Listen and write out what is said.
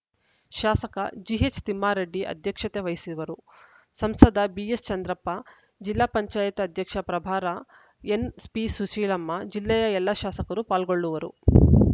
ಶಾಸಕ ಜಿಎಚ್‌ತಿಮ್ಮಾರೆಡ್ಡಿ ಅಧ್ಯಕ್ಷತೆ ವಹಿಸುವರು ಸಂಸದ ಬಿಎಸ್ ಚಂದ್ರಪ್ಪ ಜಿಲ್ಲಾ ಪಂಚಾಯತ್ ಅಧ್ಯಕ್ಷಪ್ರಭಾರ ಎನ್‌ಪಿಸುಶೀಲಮ್ಮ ಜಿಲ್ಲೆಯ ಎಲ್ಲ ಶಾಸಕರು ಪಾಲ್ಗೊಳ್ಳುವರು